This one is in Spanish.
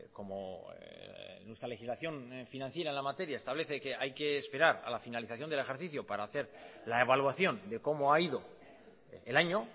como nuestra legislación financiera en la materia establece que hay que esperar a la finalización del ejercicio para hacer la evaluación de cómo ha ido el año